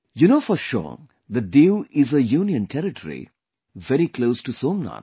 You know for sure that 'Diu' is a Union Territory, very close to Somnath